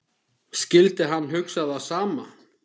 Skyldi hann hugsa það sama?